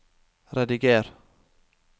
rediger